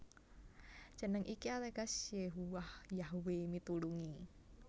Jeneng iki ateges Yehuwah Yahwe mitulungi